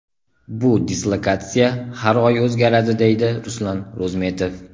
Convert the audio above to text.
Bu dislokatsiya har oy o‘zgaradi” deydi Ruslan Ro‘zmetov.